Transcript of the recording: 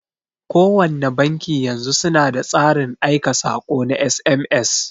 Kowanne banki yanzu suna da tsarin aika saƙo na SMS.